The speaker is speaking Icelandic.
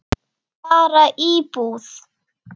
Bara íbúð.